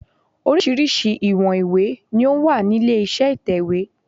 Oríṣiríṣi ìwọ̀n ìwé ni ó wà nílé iṣẹ́ ìtẹ̀wẹ́.